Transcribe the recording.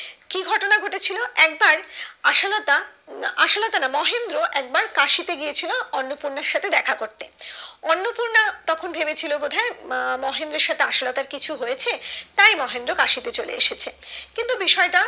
আশালতা না আশালতা না মহেন্দ্র একবার কাশিতে গিয়ে ছিল অন্নপূর্ণার সাথে দেখা করতে অন্নপূর্র্ণ তখন ভেবেছিলো বোধহয় আহ মহেন্দ্রর সাথে আশালতার কিছু হয়েছে তাই মহেন্দ্র কাশিতে চলে এসেছে কিন্তু বিষয়টা